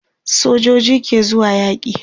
sojoji ke zuwa yaki